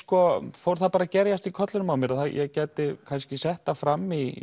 fór það að gerjast í kollinum á mér að ég gæti kannski sett það fram í